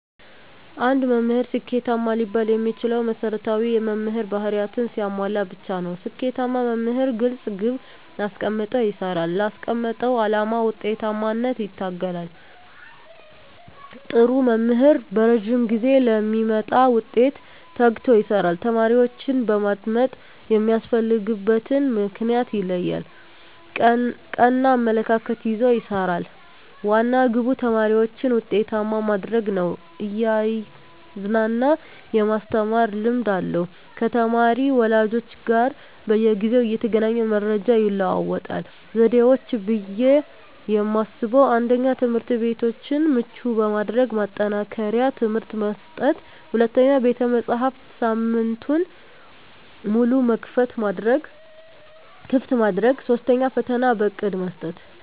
አንድ መምህር ስኬታማ ሊባል የሚችለው መሰረታዊ የመምህር ባህርያትን ሲያሟላ ብቻ ነው። ስኬታማ መምህር ግልፅ ግብ አስቀምጦ ይሰራል: ላስቀመጠው አላማ ውጤታማነት ይተጋል, ጥሩ መምህር በረዥም ጊዜ ለሚመጣ ውጤት ተግቶ ይሰራል። ተማሪዎችን በማዳመጥ የሚያስፈልግበትን ምክንያት ይለያል ,ቀና አመለካከት ይዞ ይሰራል, ዋና ግቡ ተማሪዎችን ውጤታማ ማድረግ ነው እያዝናና የማስተማር ልምድ አለው ከተማሪ ወላጆች ጋር በየጊዜው እየተገናኘ መረጃ ይለዋወጣል። ዘዴዎች ብዬ የማስበው 1ኛ, ትምህርትቤቶችን ምቹ በማድረግ ማጠናከሪያ ትምህርት መስጠት 2ኛ, ቤተመፅሀፍትን ሳምንቱን ሙሉ ክፍት ማድረግ 3ኛ, ፈተና በእቅድ መስጠት።